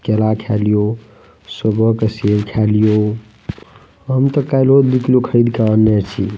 केला खेलियो सुबह के सेब खेलियो हम ते काल्हो दु किलो खरीद के आनने छी।